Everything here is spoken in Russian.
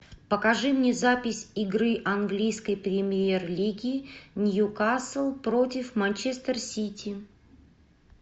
покажи мне запись игры английской премьер лиги ньюкасл против манчестер сити